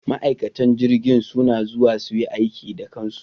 Ma'aikatan jirgin suna zuwa su yi aiki da kansu.